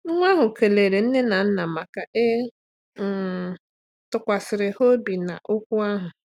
Nwa ahụ kelere nne na nna maka ị um tụkwasịrị ha obi na okwu ahụ.